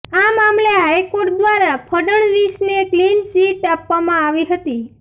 આ મામલે હાઇકોર્ટ દ્વારા ફડણવીસને ક્લીન ચીટ આપવામાં આવી હતી